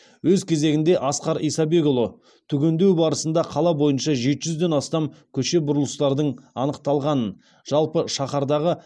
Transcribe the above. өз кезегінде асқар исабекұлы түгендеу барысында қала бойынша жеті жүзден астам көше бұрылыстардың анықталғанын жалпы шаһардағы